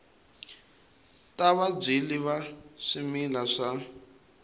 ta vabyali va swimila wa